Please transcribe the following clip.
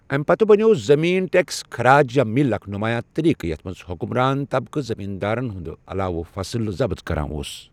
امہِ پتہٕ بنیوو زٔمین ٹٮ۪كس خراج یا مل اكھ نمایاں طریقہٕ یتھ منز حکمران طبقہٕ زٔمیٖندارن ہٕنٛد علاوٕ فصل ضبط کران اوس